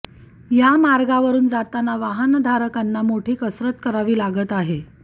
या मार्गावरून जाताना वाहनधारकांना मोठी कसरत करावी लागत आहे